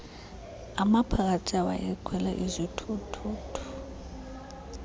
amaphakathi awayekhwele izithuthuthu